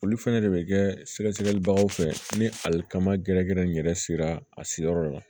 Olu fɛnɛ de bɛ kɛ sɛgɛsɛgɛlibagaw fɛ ni alikama gɛrɛgɛrɛ in yɛrɛ sera a seyɔrɔ la